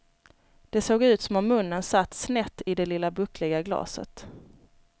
Det såg ut som om munnen satt snett i det lite buckliga glaset.